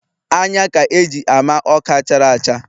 Anya ka e ji ama Ọka chara acha